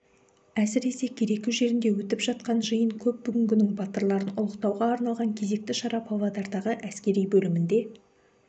әсіресе кереку жерінде өтіп жатқан жиын көп бүгінгінің батырларын ұлықтауға арналған кезекті шара павлодардағы әскери бөлімінде